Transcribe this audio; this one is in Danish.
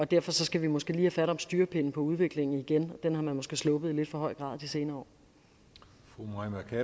derfor skal vi måske lige have fat om styrepinden på udviklingen igen den har man måske sluppet i lidt for høj grad de senere